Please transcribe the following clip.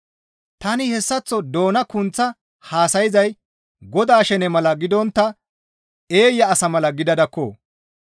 Tani hessaththo doona kunththa haasayzay Godaa shene mala gidontta eeya asa mala gidadakko.